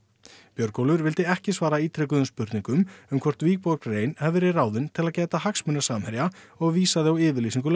Björgólfur vildi ekki svara ítrekuðum spurningum um hvort rein hefði verið ráðin til að gæta hagsmuna Samherja og vísaði á yfirlýsingu